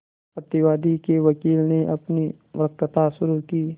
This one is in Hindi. प्रतिवादी के वकील ने अपनी वक्तृता शुरु की